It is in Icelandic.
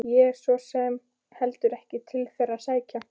Ég hef svo sem heldur ekkert til þeirra að sækja.